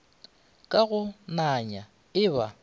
ka go nanya e ba